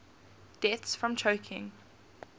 deaths from choking